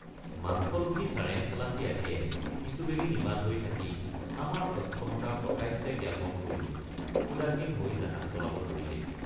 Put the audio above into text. মাংসলোভী চাৰেংখালাচী আদিয়ে কিছু বেলি নিমাত হৈ থাকি আমাৰ অক্ষমতা প্ৰকাশ্যে জ্ঞাপন কৰি উদাসীন হৈ জাহাজ চলাব ধৰিলেই।